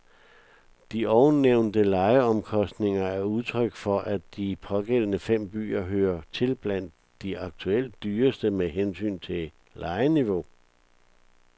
De ovennævnte lejeomkostninger er udtryk for, at de pågældende fem byer hører til blandt de aktuelt dyreste med hensyn til lejeniveau.